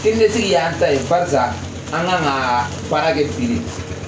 Keningetigi y'an ta ye barisa an ga ka baara kɛ bi de